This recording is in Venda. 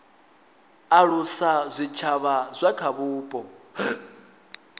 alusa zwitshavha zwa kha vhupo